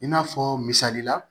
I n'a fɔ misalila